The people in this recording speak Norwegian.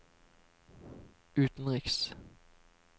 utenriks